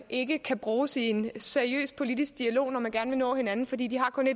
ikke kan bruges i en seriøs politisk dialog når man gerne vil nå hinanden fordi de kun